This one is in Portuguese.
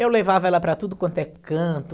Eu levava ela para tudo quanto é canto.